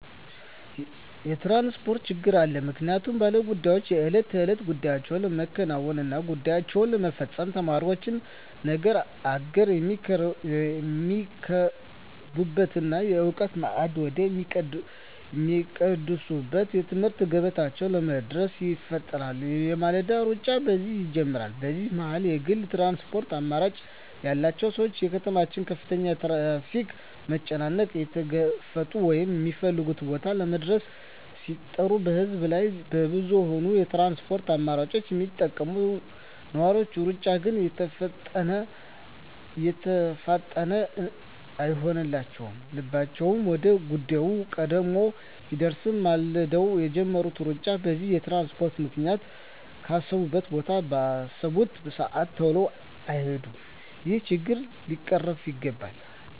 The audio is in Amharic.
የትራንስፖርት ችግር አለ ምክንያቱም ባለ ጉዳዮች የእለት ተእለት ጉዳያቸዉን ለማከናወን እና ጉዳያቸዉን ለመፈፀም፣ ተማሪዎች ነገ አገርየሚረከቡበትን የእዉቀት ማዕድ ወደ ሚቋደሱበት የትምህርት ገበታቸዉ ለመድረስ ይፋጠናሉ የማለዳዉ ሩጫ በዚህ ይጀምራል በዚህ መሀል የግል ትራንስፖርት አማራጭ ያላቸዉ ሰዎች የከተማዋን ከፍተኛ የትራፊክ መጨናነቅ እየተጋፈጡ ወደ ሚፈልጉት ቦታ ለመድረስ ሲጥሩ በህዝብ እና በብዙኀን የትራንስፖርት አማራጮች የሚጠቀሙ ነዋሪዎች ሩጫ ግን የተፋጠነ አይሆንላቸዉም ልባቸዉ ወደ ጉዳያቸዉ ቀድሞ ቢደርስም ማልደዉ የጀመሩት ሩጫ በዚህ በትራንስፖርት ምክንያት ካሰቡት ቦታ ባሰቡበት ሰአት ተሎ አይደርሱም ይሄ ችግር ሊቀረፍ ይገባል